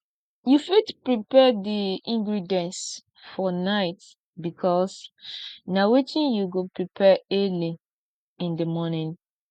you fit prepare di ingredients for night because na wetin you go prepare early in di morning